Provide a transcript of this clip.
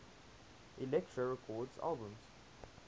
elektra records albums